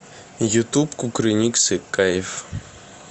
ютуб кукрыниксы кайф